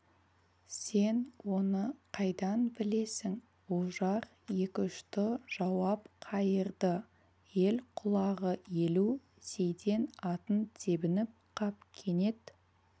сен оны қайдан білесің ожар екіұшты жауап қайырды ел құлағы елу сейтен атын тебініп қап кенет